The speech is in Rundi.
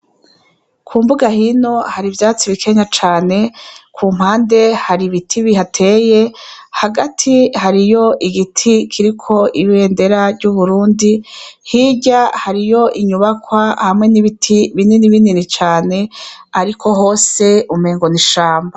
Kumbuga hino hari ivyatsi bikenya cane, kumpande hari ibiti bihateye, hagati hariho igiti kiriko ibendera ry'Uburundi, hirya hariyo inyubakwa n'ibiti binini binini cane ariko hose umengo n'ishamba.